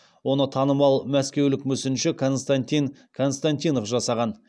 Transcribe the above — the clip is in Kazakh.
оны танымал мәскеулік мүсінші константин константинов жасаған